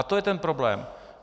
A to je ten problém.